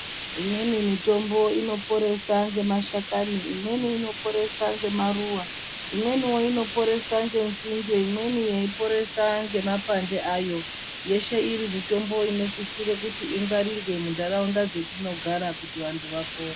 Imweni mitombo inoporese nemashakani imweni inoporese ngemaruwa imweniwo inoporese ngenzinde imweni yeiporesa ngemakwande ayo , yeshe iri mitombo inosisire kuti ingwarirwe mundaraunda dzetinogara kuti vantu vapore.